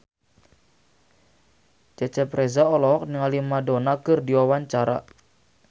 Cecep Reza olohok ningali Madonna keur diwawancara